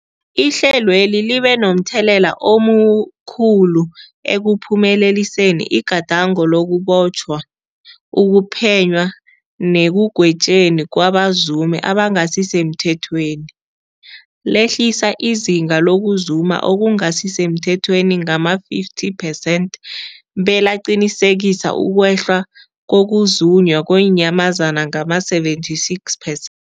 Ihlelweli libe momthelela omkhulu ekuphumeleliseni igadango lokubotjhwa, ukuphenywa nekugwetjweni kwabazumi abangasisemthethweni lehlisa izinga lokuzuma okungasi semthethweni ngama-50 percent, belaqinisekisa ukwehla kokuzunywa kweenyamazana ngama-76 per